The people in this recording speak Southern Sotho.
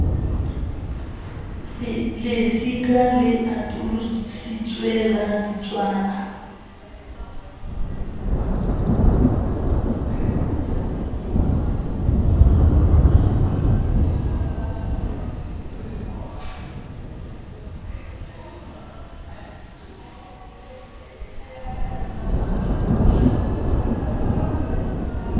lesika le atolositsweng la ditswala